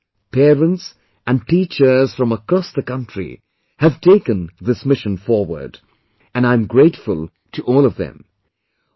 Students, parents and teachers from across the country have taken this mission forward, and I am grateful to all of them